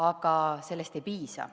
Aga sellest ei piisa.